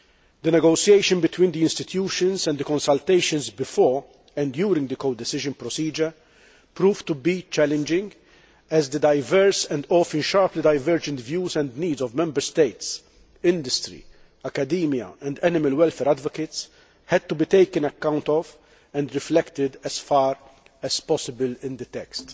The negotiation between the institutions and the consultations before and during the codecision procedure proved to be challenging, as the diverse and often sharply divergent views and needs of Member States, industry, academia and animal welfare advocates had to be taken into account and reflected as far as possible in the text.